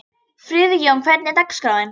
Friðjóna, hvernig er dagskráin?